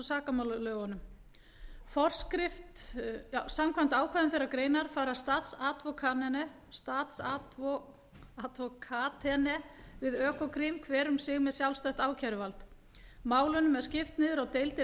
sakamálalögunum for nítján hundruð áttatíu og fimm til núll sex til tuttugu og átta númer sextán hundruð sjötíu og níu forskrift om ordningen av påtalemyndigheten samkvæmt ákvæðum þeirrar greinar fara statsadvokatene við økokrim hver um sig með sjálfstætt ákæruvald málunum er skipt niður á deildir